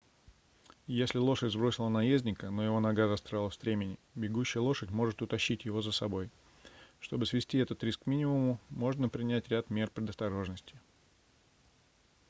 если лошадь сбросила наездника но его нога застряла в стремени бегущая лошадь может утащить его за собой чтобы свести этот риск к минимуму можно принять ряд мер предосторожности